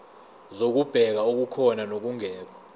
zokubheka okukhona nokungekho